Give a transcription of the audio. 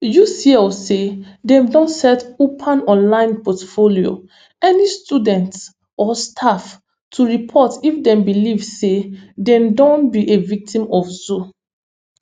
ucl say dem don set upan online portalfor any students or staff to report if dem believe say dem don be a victim of zou